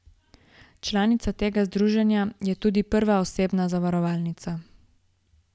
Članica tega združenja je tudi Prva osebna zavarovalnica.